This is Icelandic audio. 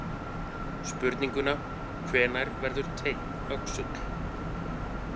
Spurninguna Hvenær verður teinn öxull?